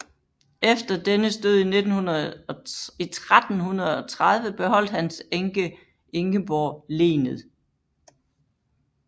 Efter dennes død i 1330 beholdt hans enke Ingeborg lenet